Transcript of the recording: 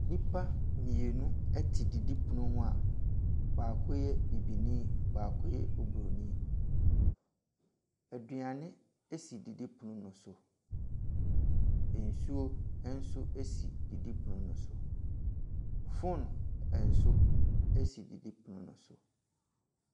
Nnipa mmienu te didipono ho a baako yɛ bibini, baako yɛ obrnin. Aduane si didipono ne so, nsuo nso si didipono ne so, phone nso si didipono ne so.